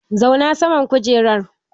Zauna saman kujerar!